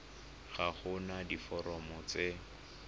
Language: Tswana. ga go na diforomo tse